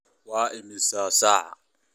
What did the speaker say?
Waa imisa saac?